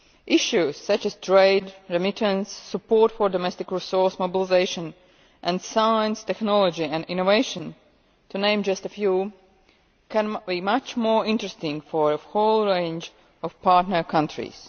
Issues such as trade, remittances, support for domestic resource mobilisation and science, technology and innovation, to name just a few, can be much more interesting for a whole range of partner countries.